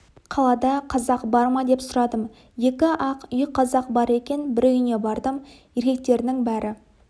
қалада қазақ бар ма деп сұрадым екі-ақ үй қазақ бар екен бір үйіне бардым еркектерінің бәрі